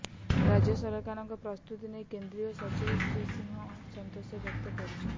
ରାଜ୍ୟ ସରକାରଙ୍କ ପ୍ରସ୍ତୁତି ନେଇ କେନ୍ଦ୍ରୀୟ ସଚିବ ଶ୍ରୀ ସିଂହ ସନ୍ତୋଷବ୍ୟକ୍ତ କରିଛନ୍ତି